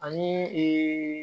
Ani